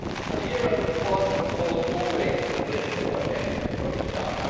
The euro was, of course, a political project from the start.